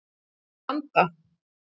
Ég vil ekki stranda.